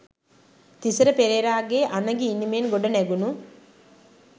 තිසර පෙරේරාගේ අනගි ඉනිමෙන් ගොඩනැගුණු